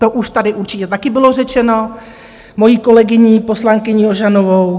To už tady určitě taky bylo řečeno mojí kolegyní poslankyní Ožanovou.